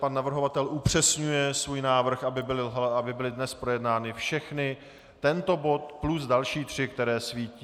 Pan navrhovatel upřesňuje svůj návrh, aby byly dnes projednány všechny, tento bod plus další tři, které svítí.